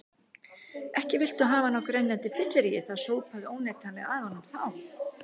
Ekki viltu hafa hann á grenjandi fylleríi, það sópaði óneitanlega að honum þá.